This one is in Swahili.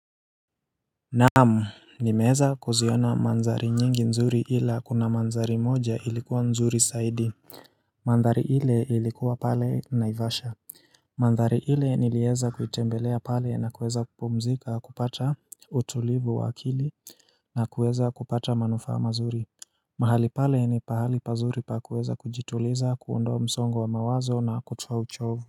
Naam nimeeza kuziona manzari nyingi nzuri ila kuna manzari moja ilikuwa nzuri saidi Mandhari ile ilikuwa pale naivasha Mandhri ile nilieza kuitembelea pale na kuweza kupumzika kupata utulivu wa akili na kuweza kupata manufaa mazuri mahali pale ni pahali pazuri pa kuweza kujituliza ku undoa msongo wa mawazo na kutufa uchovu.